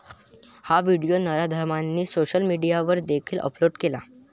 हा व्हिडिओ नराधमांनी सोशल मीडियावर देखील अपलोड केला.